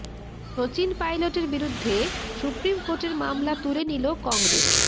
শচিন পাইলটের বিরুদ্ধে সুপ্রিম কোর্টের মামলা তুলে নিল কংগ্রেস